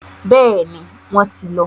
Bẹ́ẹ̀ni, wọ́n ti lọ.